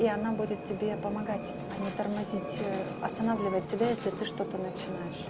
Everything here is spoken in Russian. и она будет тебе помогать а не тормозить останавливать тебя если ты что-то начинаешь